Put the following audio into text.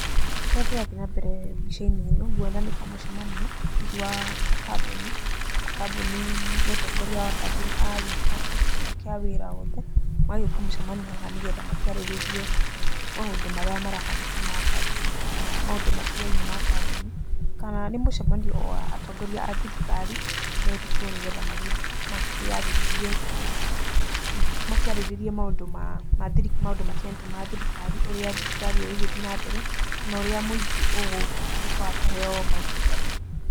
Kĩrĩa kĩrathiĩ nambere mbica-inĩ ĩno, nguona nĩ ta mũcemanio hihi wa ta kambuni. Kambuni, mũtongoria wa kambuni agagĩta aruti ake a wĩra othe, magagĩũka mũcemanio haha nĩ getha makĩarĩrĩrie maũndũ marĩa marahanĩka ma kambuni kana maũndũ maatigaine ma kambuni. Kana nĩ mũcemanio o wa atongoria athirikari, metĩtwo nĩ getha makĩarĩrĩrie maũndũ matiganĩte ma thirikari, ũrĩa thirikari ĩgũgĩthiĩ na mbere, kana ũrĩa mũingĩ ũgũtuĩka wa kũheo motungata.